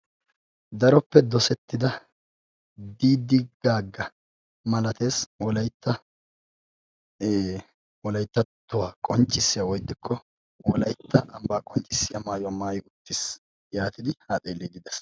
daroppe dosettida diidi gaaga malatees wolaytta wolayttatuwa qonccissiya woy ixxikko wolaytta ambba qonccissiya maayuwwa maayyi uttiis. yaatidi ha xeellide de'ees.